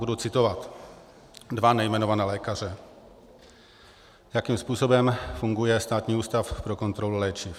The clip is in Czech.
Budu citovat dva nejmenované lékaře, jakým způsobem funguje Státní ústav pro kontrolu léčiv: